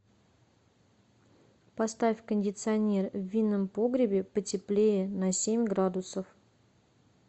поставь кондиционер в винном погребе потеплее на семь градусов